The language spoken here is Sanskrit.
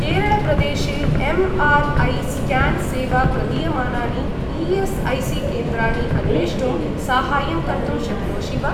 केरळप्रदेशे एम्.आर्.ऐ.स्क्यान् सेवां प्रदीयमानानि ई.एस्.ऐ.सी.केन्द्राणि अन्वेष्टुं सहाय्यं कर्तुं शक्नोषि वा?